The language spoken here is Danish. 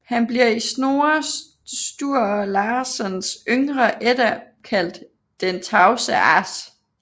Han bliver i Snorre Sturlasons Yngre Edda kaldt Den tavse as